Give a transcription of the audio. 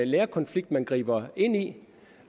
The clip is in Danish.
lærerkonflikt man griber ind i